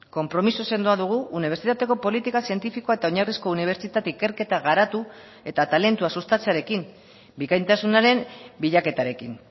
konpromiso sendoa dugu unibertsitateko politika zientifikoa eta oinarrizko unibertsitate ikerketa garatu eta talentua sustatzearekin bikaintasunaren bilaketarekin